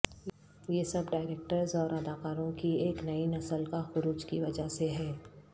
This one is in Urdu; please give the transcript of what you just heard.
یہ سب ڈائریکٹرز اور اداکاروں کی ایک نئی نسل کا خروج کی وجہ سے ہے